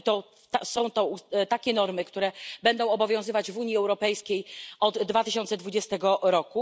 I są to takie normy, które będą obowiązywać w Unii Europejskiej od 2020 r.